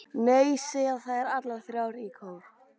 Nei, segja þær allar þrjár í kór.